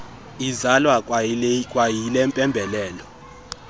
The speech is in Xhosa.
izalwa kwayile mpembelelo